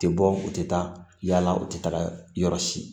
U tɛ bɔ u tɛ taa yala u tɛ taga yɔrɔ si